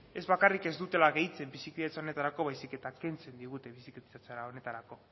ez bakarrik ez dutela gehitzen bizikidetza honetarako baizik eta kentzen digute bizikidetza honetarako